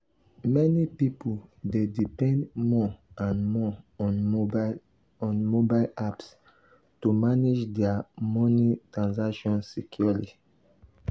meni pipul dey depend more and more on mobile on mobile apps to manage dia daily moni transactions securely.